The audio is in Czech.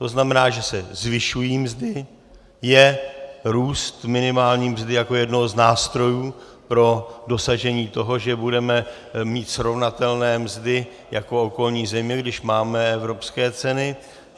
To znamená, že se zvyšují mzdy, je růst minimální mzdy jako jednoho z nástrojů pro dosažení toho, že budeme mít srovnatelné mzdy jako okolní země, když máme evropské ceny.